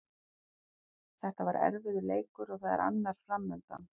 Þetta var erfiður leikur og það er annar framundan.